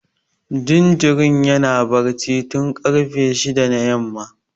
Jinjirin yana barci tun karfe shida na yamma